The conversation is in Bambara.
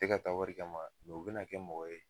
U te ka taa wari kama u bena kɛ mɔgɔ ye